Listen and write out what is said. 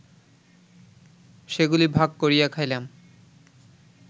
সেগুলি ভাগ করিয়া খাইলাম